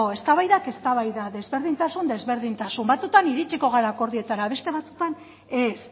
eztabaidak eztabaida desberdintasun desberdintasun batzuetan iritsiko gara akordioetara beste batzuetan ez